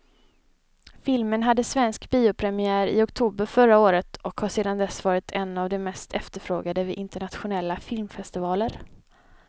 Filmen hade svensk biopremiär i oktober förra året och har sedan dess varit en av de mest efterfrågade vid internationella filmfestivaler.